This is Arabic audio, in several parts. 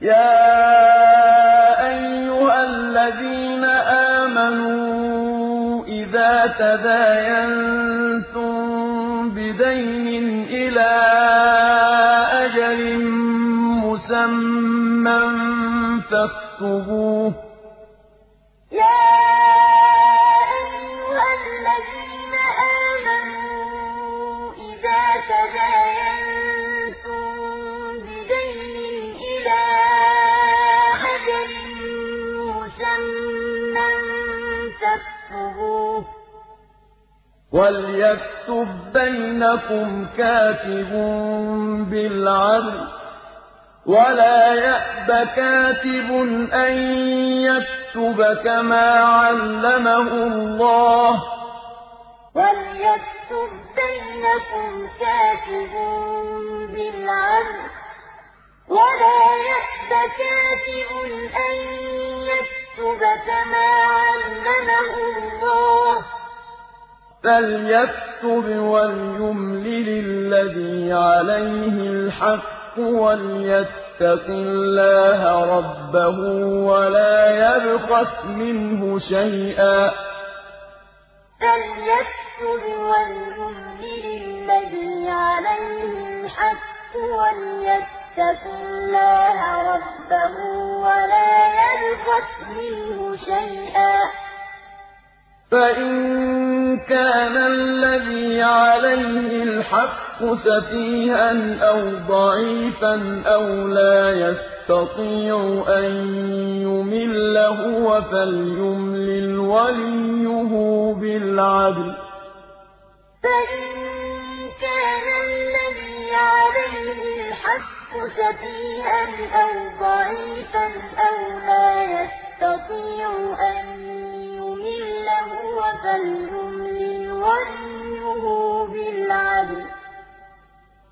يَا أَيُّهَا الَّذِينَ آمَنُوا إِذَا تَدَايَنتُم بِدَيْنٍ إِلَىٰ أَجَلٍ مُّسَمًّى فَاكْتُبُوهُ ۚ وَلْيَكْتُب بَّيْنَكُمْ كَاتِبٌ بِالْعَدْلِ ۚ وَلَا يَأْبَ كَاتِبٌ أَن يَكْتُبَ كَمَا عَلَّمَهُ اللَّهُ ۚ فَلْيَكْتُبْ وَلْيُمْلِلِ الَّذِي عَلَيْهِ الْحَقُّ وَلْيَتَّقِ اللَّهَ رَبَّهُ وَلَا يَبْخَسْ مِنْهُ شَيْئًا ۚ فَإِن كَانَ الَّذِي عَلَيْهِ الْحَقُّ سَفِيهًا أَوْ ضَعِيفًا أَوْ لَا يَسْتَطِيعُ أَن يُمِلَّ هُوَ فَلْيُمْلِلْ وَلِيُّهُ بِالْعَدْلِ ۚ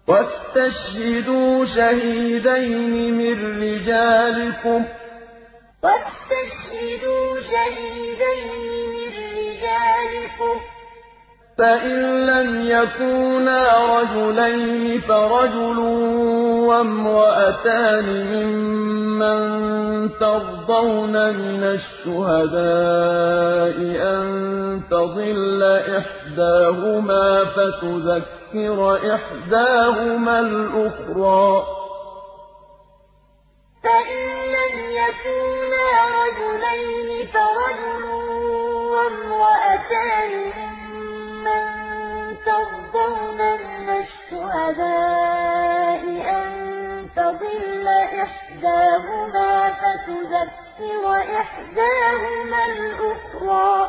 وَاسْتَشْهِدُوا شَهِيدَيْنِ مِن رِّجَالِكُمْ ۖ فَإِن لَّمْ يَكُونَا رَجُلَيْنِ فَرَجُلٌ وَامْرَأَتَانِ مِمَّن تَرْضَوْنَ مِنَ الشُّهَدَاءِ أَن تَضِلَّ إِحْدَاهُمَا فَتُذَكِّرَ إِحْدَاهُمَا الْأُخْرَىٰ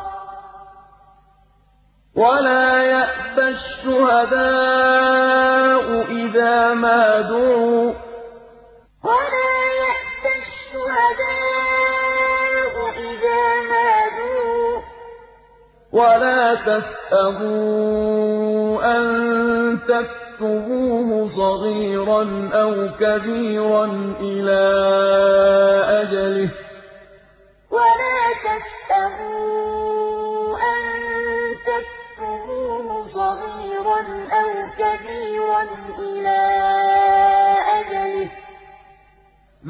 ۚ وَلَا يَأْبَ الشُّهَدَاءُ إِذَا مَا دُعُوا ۚ وَلَا تَسْأَمُوا أَن تَكْتُبُوهُ صَغِيرًا أَوْ كَبِيرًا إِلَىٰ أَجَلِهِ ۚ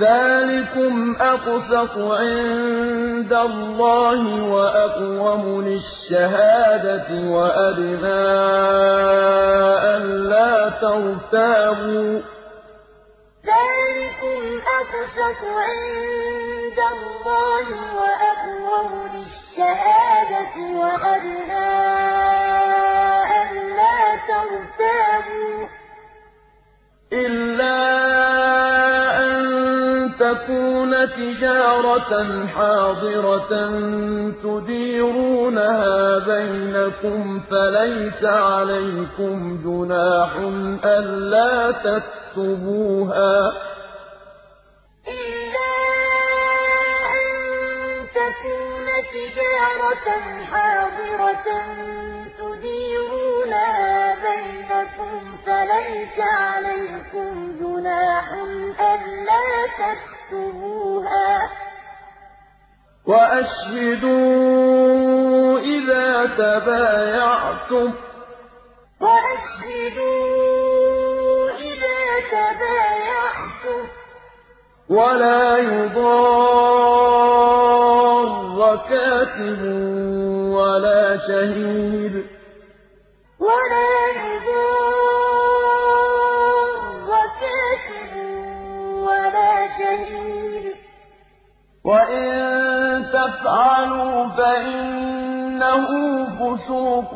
ذَٰلِكُمْ أَقْسَطُ عِندَ اللَّهِ وَأَقْوَمُ لِلشَّهَادَةِ وَأَدْنَىٰ أَلَّا تَرْتَابُوا ۖ إِلَّا أَن تَكُونَ تِجَارَةً حَاضِرَةً تُدِيرُونَهَا بَيْنَكُمْ فَلَيْسَ عَلَيْكُمْ جُنَاحٌ أَلَّا تَكْتُبُوهَا ۗ وَأَشْهِدُوا إِذَا تَبَايَعْتُمْ ۚ وَلَا يُضَارَّ كَاتِبٌ وَلَا شَهِيدٌ ۚ وَإِن تَفْعَلُوا فَإِنَّهُ فُسُوقٌ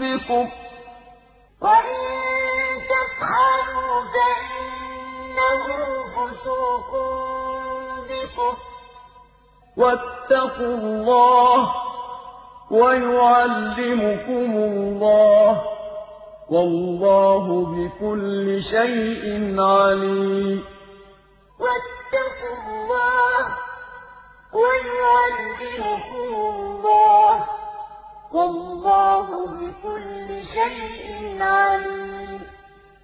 بِكُمْ ۗ وَاتَّقُوا اللَّهَ ۖ وَيُعَلِّمُكُمُ اللَّهُ ۗ وَاللَّهُ بِكُلِّ شَيْءٍ عَلِيمٌ يَا أَيُّهَا الَّذِينَ آمَنُوا إِذَا تَدَايَنتُم بِدَيْنٍ إِلَىٰ أَجَلٍ مُّسَمًّى فَاكْتُبُوهُ ۚ وَلْيَكْتُب بَّيْنَكُمْ كَاتِبٌ بِالْعَدْلِ ۚ وَلَا يَأْبَ كَاتِبٌ أَن يَكْتُبَ كَمَا عَلَّمَهُ اللَّهُ ۚ فَلْيَكْتُبْ وَلْيُمْلِلِ الَّذِي عَلَيْهِ الْحَقُّ وَلْيَتَّقِ اللَّهَ رَبَّهُ وَلَا يَبْخَسْ مِنْهُ شَيْئًا ۚ فَإِن كَانَ الَّذِي عَلَيْهِ الْحَقُّ سَفِيهًا أَوْ ضَعِيفًا أَوْ لَا يَسْتَطِيعُ أَن يُمِلَّ هُوَ فَلْيُمْلِلْ وَلِيُّهُ بِالْعَدْلِ ۚ وَاسْتَشْهِدُوا شَهِيدَيْنِ مِن رِّجَالِكُمْ ۖ فَإِن لَّمْ يَكُونَا رَجُلَيْنِ فَرَجُلٌ وَامْرَأَتَانِ مِمَّن تَرْضَوْنَ مِنَ الشُّهَدَاءِ أَن تَضِلَّ إِحْدَاهُمَا فَتُذَكِّرَ إِحْدَاهُمَا الْأُخْرَىٰ ۚ وَلَا يَأْبَ الشُّهَدَاءُ إِذَا مَا دُعُوا ۚ وَلَا تَسْأَمُوا أَن تَكْتُبُوهُ صَغِيرًا أَوْ كَبِيرًا إِلَىٰ أَجَلِهِ ۚ ذَٰلِكُمْ أَقْسَطُ عِندَ اللَّهِ وَأَقْوَمُ لِلشَّهَادَةِ وَأَدْنَىٰ أَلَّا تَرْتَابُوا ۖ إِلَّا أَن تَكُونَ تِجَارَةً حَاضِرَةً تُدِيرُونَهَا بَيْنَكُمْ فَلَيْسَ عَلَيْكُمْ جُنَاحٌ أَلَّا تَكْتُبُوهَا ۗ وَأَشْهِدُوا إِذَا تَبَايَعْتُمْ ۚ وَلَا يُضَارَّ كَاتِبٌ وَلَا شَهِيدٌ ۚ وَإِن تَفْعَلُوا فَإِنَّهُ فُسُوقٌ بِكُمْ ۗ وَاتَّقُوا اللَّهَ ۖ وَيُعَلِّمُكُمُ اللَّهُ ۗ وَاللَّهُ بِكُلِّ شَيْءٍ عَلِيمٌ